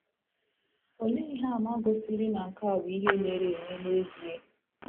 Olee ihe àmà gosiri na nke a bụ ihe mere eme n’ezie?